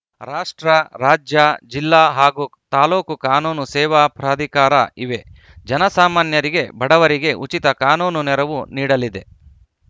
ರಾಷ್ಟ್ರ ರಾಜ್ಯ ಜಿಲ್ಲಾ ಹಾಗೂ ತಾಲೂಕು ಕಾನೂನು ಸೇವಾ ಪ್ರಾಧಿಕಾರ ಇವೆ ಜನಸಾಮಾನ್ಯರಿಗೆ ಬಡವರಿಗೆ ಉಚಿತ ಕಾನೂನು ನೆರವು ನೀಡಲಿದೆ